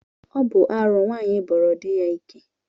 Ọ bụ arụ nwaanyị ịbọrọ di ya ike